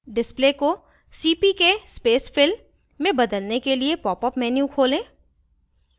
display को cpk space fill में बदलने के लिए popअप menu खोलें